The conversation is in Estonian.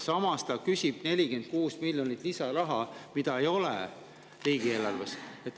Samas küsib ta 46 miljonit eurot lisaraha, mida riigieelarves ei ole.